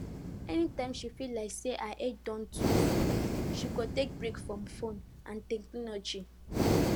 anytime she feel like say her head don too full she go take break from phone and technology